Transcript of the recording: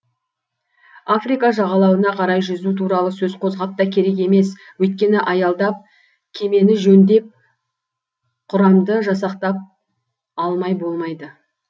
африка жағалауына қарай жүзу туралы сөз қозғап та керек емес өйткені аялдап кемені жөндеп құрамды жасақтап алмай болмайды